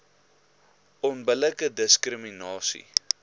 onbillike diskri minasie